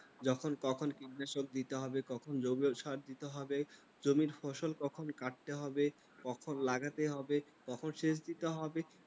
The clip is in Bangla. যখন তখন কীটনাশক দিতে হবে জৈব সার দিতে হবে। জমির ফসল কখন কাটতে হবে, কখন লাগাতে হবে তখন সেচ দিতে হবে।